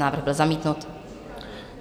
Návrh byl zamítnut.